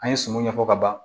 An ye sumun ɲɛfɔ ka ban